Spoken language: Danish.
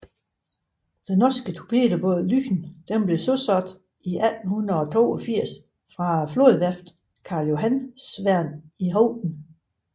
Den norske torpedobåd Lyn blev søsat i 1882 fra flådeværftet Karljohansvern i Horten